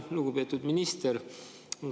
Lugupeetud minister!